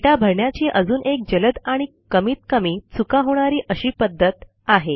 दाता भरण्याची अजून एक जलद आणि कमीतकमी चुका होणारी अशी पध्दत आहे